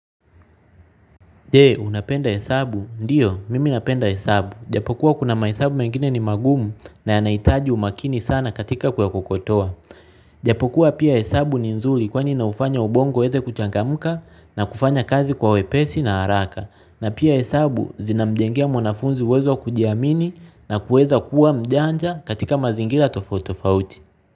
Je, unapenda hesabu? Ndiyo mimi napenda hesabu. Japokuwa kuna mahesabu mengine ni magumu na yanahitaji umakini sana katika kuyakokotoa. Japokuwa pia hesabu ni nzuri kwani inaufanya ubongo uweze kuchangamka na kufanya kazi kwa wepesi na haraka. Na pia hesabu zinamjengea mwanafunzi uwezo wa kujiamini na kuweza kuwa mjanja katika mazingira tofauti tofauti.